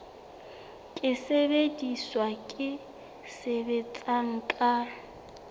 ke sesebediswa se sebetsang ka